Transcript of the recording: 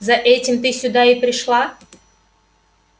за этим ты сюда и пришла